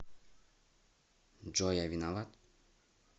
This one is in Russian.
джой я виноват